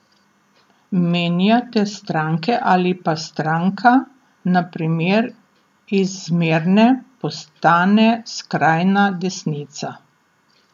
Menjate stranke ali pa stranka, na primer, iz zmerne postane skrajna desnica.